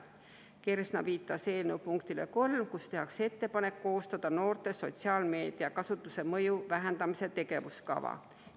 Kersna viitas eelnõu punktile nr 3, kus tehakse ettepanek koostada noorte sotsiaalmeediakasutuse mõju vähendamise tegevuskava.